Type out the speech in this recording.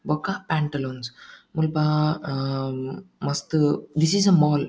ಬೊಕ್ಕ ಪ್ಯಾಂಟಲೂನ್ಸ್ ಮುಲ್ಪ ಆ ಮಸ್ತ್ ದಿಸ್ ಇಸ್ ಅ ಮಾಲ್ .